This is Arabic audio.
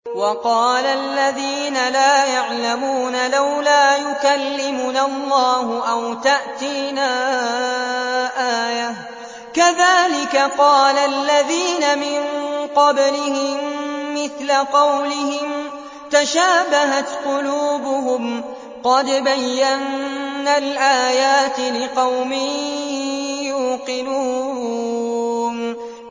وَقَالَ الَّذِينَ لَا يَعْلَمُونَ لَوْلَا يُكَلِّمُنَا اللَّهُ أَوْ تَأْتِينَا آيَةٌ ۗ كَذَٰلِكَ قَالَ الَّذِينَ مِن قَبْلِهِم مِّثْلَ قَوْلِهِمْ ۘ تَشَابَهَتْ قُلُوبُهُمْ ۗ قَدْ بَيَّنَّا الْآيَاتِ لِقَوْمٍ يُوقِنُونَ